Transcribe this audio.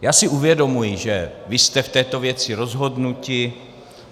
Já si uvědomuji, že vy jste v této věci rozhodnutí.